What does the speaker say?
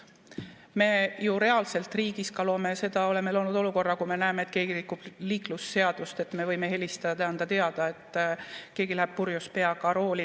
Me ju reaalselt riigis oleme loonud ka olukorra, et kui me näeme, et keegi rikub liiklusseadust, siis me võime helistada ja anda teada, et keegi läheb näiteks purjus peaga rooli.